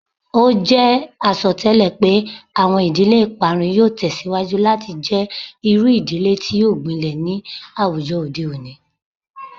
O jẹ asọtẹlẹ pe awọn idile iparun yoo tẹsiwaju lati jẹ iru idile ti o gbilẹ ni awujọ ode oni